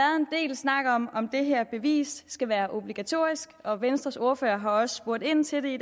snak om om det her bevis skal være obligatorisk og venstres ordfører har også spurgt ind til det